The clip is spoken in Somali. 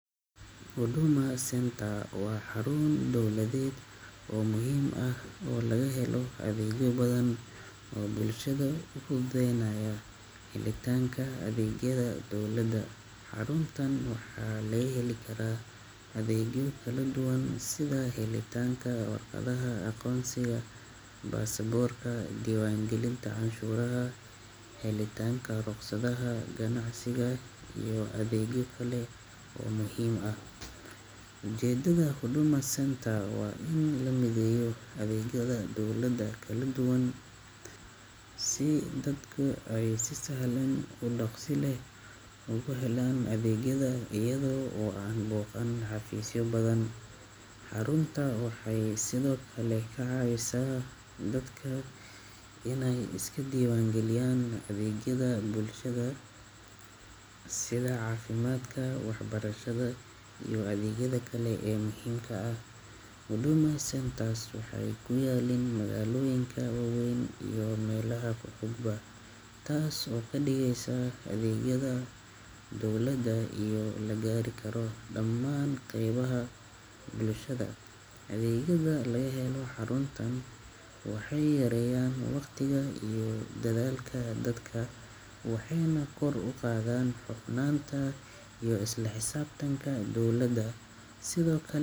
Hoduma senta waa xarun dawladeed oo muhiim ah oo laga helo adeegyo badan oo bulshada ugu deenaayo. Xaaladdaanka Adeegyada Dowladda. Xaruntaan waxaa lée heli karaa adeegyo kala duwan sida xaaladdaanka, warqadaha, aqoonsiga, basabuurka, diiwaangelinta, canshuuraha, xaaladdaanka, rogsadaha, ganacsiga iyo adeegyo kale oo muhiim ah. Jeedada hoduma senta waa in la midayo adeegyada dawladda kala duwan si dadku caysi sahalan u dhaqsile ugu helaan adeegyada iyadoo uu u baahan xafiisyada badan. Xarunta waxay sidoo kale ka caawisa dadka in ay iska diiwaangeliyaan adeegyada bulshada sida caafimaadka, waxbarashada iyo adeegyada kale ee muhiimka ah. Hoduma sentaas waxay ku yaaliin magaalooyinka waawayn iyo meelo ha fududba taas oo ka dhigaysa adeegyada dawladda iyo la gaari karo dhammaan qeybaha bulshada. Adeegyada la helo xaruntan waxay yarayaan waqtiga iyo dadaalka dadka waxeena kor u qaadan foofnaanta iyo isla xisaabtanka dawladda sidoo kale.